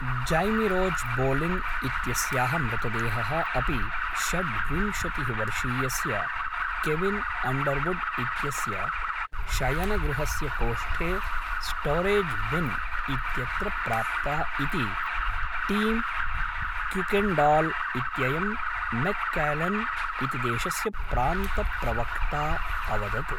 जैमिरोज्बोलिन् इत्यस्याः मृतदेहः अपि षड्विंशतिः वर्षीयस्य केविन् अंडर्वुड् इत्यस्य शयनगृहस्य कोष्ठे स्टौरेज् बिन् इत्यत्र प्राप्ता इति टीम् क्युकेण्डाल् इत्ययं मैक्क्लेन् इति देशस्य प्रान्तप्रवक्ता अवदत्।